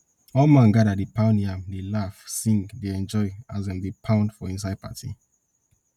all man gather dey pound yam dey laugh sing dey enjoy as dem dey pound for inside party